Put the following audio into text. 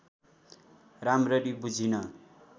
राम्ररी बुझिन